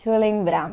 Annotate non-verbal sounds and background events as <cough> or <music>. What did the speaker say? <unintelligible> lembrar.